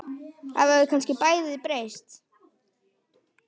Hafa þau kannski bæði breyst?